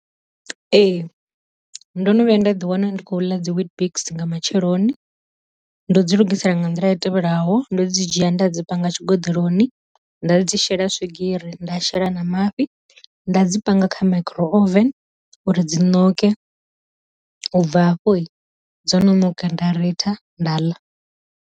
Ee ndo no vhuya nda ḓi wana ndi khou ḽa dzi weet biks nga matsheloni ndo dzi lugisela nga nḓila i tevhelaho, ndo dzi dzhia nda dzi panga tshi goḓeloni nda dzi shela swigiri nda shela na mafhi, nda dzi panga kha micro oven uri dzi ṋoke, u bva hafho dzo no ṋonka nda ritha nda ḽa.